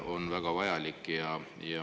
… on väga vajalik.